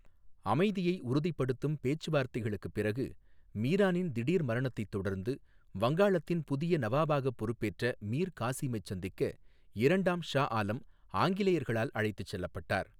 அமைதியை உறுதிப்படுத்தும் பேச்சுவார்த்தைகளுக்குப் பிறகு, மீரானின் திடீர் மரணத்தைத் தொடர்ந்து வங்காளத்தின் புதிய நவாபாக பொறுப்பேற்ற மீர் காசிமைச் சந்திக்க இரண்டாம் ஷா ஆலம் ஆங்கிலேயர்களால் அழைத்துச் செல்லப்பட்டார்.